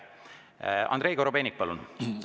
Andrei Korobeinik, palun!